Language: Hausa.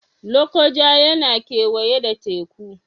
Lokoja yana kewaye da Teku